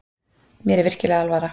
Mér er virkilega alvara.